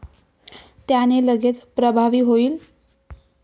त्याने लगेच प्रभावी होईल.